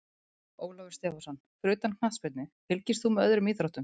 Ólafur Stefánsson Fyrir utan knattspyrnu, fylgist þú með öðrum íþróttum?